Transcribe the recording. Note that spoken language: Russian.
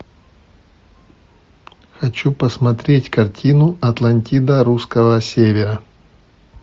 хочу посмотреть картину атлантида русского севера